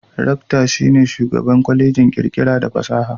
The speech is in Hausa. Rakta (Rector) shi ne Shugaban Kwallejin kirkira da fasaha.